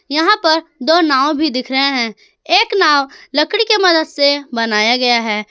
यहां पर दो नाव भी दिख रहे है एक नाव लकड़ी के मदद से बनाया गया है।